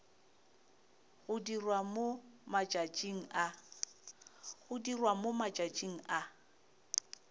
go dirwa mo matšatšing a